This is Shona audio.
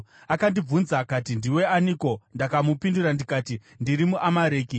“Akandibvunza akati, ‘Ndiwe aniko?’ “Ndakamupindura ndikati, ‘Ndiri muAmareki.’